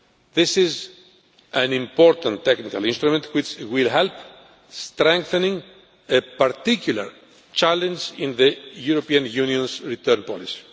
This is an important technical instrument which will help to strengthen the particular challenges in the European Union's return policy.